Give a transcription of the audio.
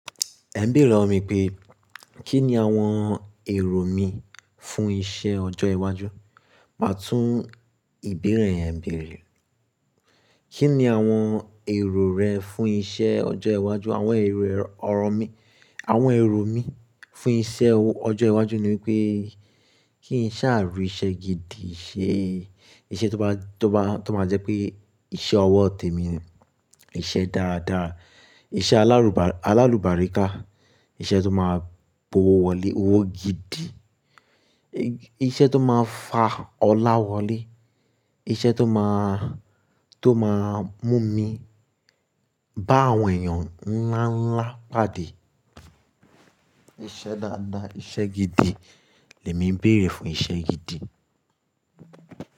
Ẹ ń bèèrè lọwọ mi pé kí ni àwọn èrò mi fún iṣẹ́ ọjọ́ iwájú? Màá tún ìbéèrè yẹn béèrè. Kí ni àwọn èrò rẹ fún iṣẹ́ ọjọ́ iwájú àwọn èrò ọ̀rọ̀ mi. Àwọn èrò mi fún iṣẹ́ ọjọ́ iwájú ni wípé kí n ṣá ri iṣẹ́ gidi ṣe. Iṣẹ́ tó bá, tó bá, tó máa jẹ́ pé iṣẹ́ ọwọ́ tèmi ni. Iṣẹ́ dáadáa, iṣẹ́ alárùbá, alárùbáríká. Iṣẹ́ tó máa mu owo wọlé owó gidi. Iṣẹ́ tó máa fà ọlá wọlé. Iṣẹ́ tó máa, tó máa mú mi bá àwọn èèyàn ńlá ńlá pàdé. Iṣẹ́ dáadáa, iṣẹ́ gidi lèmi ń béèrè fún iṣẹ́ gidi.